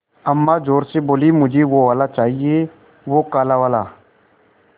अम्मा ज़ोर से बोलीं मुझे वो वाला चाहिए वो काला वाला